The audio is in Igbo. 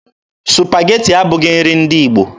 Supageti abụghị nri ndị Igbo.